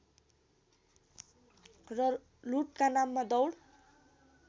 र लूटका नाममा दौड